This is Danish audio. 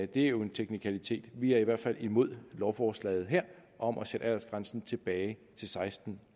det er jo en teknikalitet vi er i hvert fald imod lovforslaget om at sætte aldersgrænsen tilbage til seksten